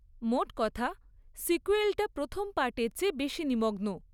মোট কথা, সিক্যুয়েলটা প্রথম পার্টের চেয়ে বেশি নিমগ্ন।